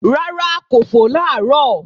Rárá kò fò làárọ̀